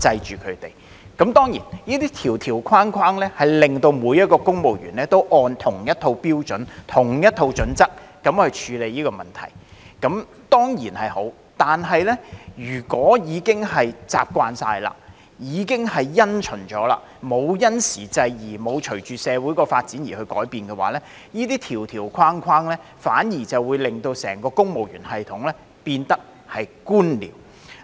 這些條條框框令到每一位公務員都按着同一套標準/準則來處理問題，這當然是好，但如果已經完全習慣及因循，沒有因時制宜，沒有隨着社會發展而改變的話，這些條條框框反而會令整個公務員系統變得官僚。